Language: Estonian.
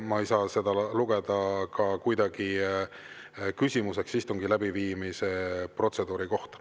Ma ei saa seda kuidagi lugeda küsimuseks istungi läbiviimise protseduuri kohta.